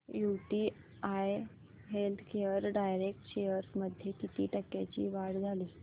UTI healthcare direct shares मध्ये किती टक्क्यांची वाढ झाली